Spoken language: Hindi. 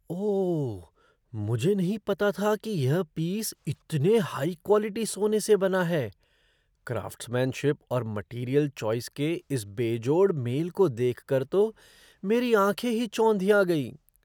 ओह, मुझे नहीं पता था कि यह पीस इतने हाई क्वालिटी सोने से बना है। क्राफ़्ट्समैनशिप और मटीरियल चॉइस के इस बेजोड़ मेल को देखकर तो मेरी आँखें ही चौंधिया गईं।